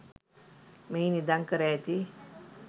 මෙහි නිදන් කර ඇති